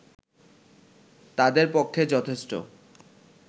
তাদের পক্ষে যথেষ্ট